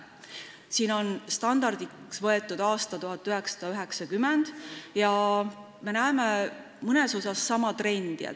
Siin on standardiks võetud aasta 1990 ja me näeme mõnes mõttes sama trendi.